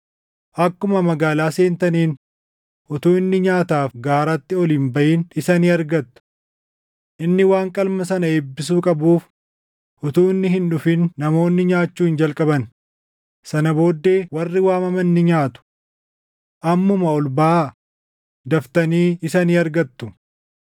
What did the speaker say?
Akkuma magaalaa seentaniin utuu inni nyaataaf gaaratti ol hin baʼin isa ni argattu. Inni waan qalma sana eebbisuu qabuuf utuu inni hin dhufin namoonni nyaachuu hin jalqaban; sana booddee warri waamaman ni nyaatu. Ammuma ol baʼaa; daftanii isa ni argattu.”